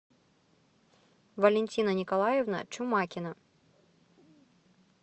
валентина николаевна чумакина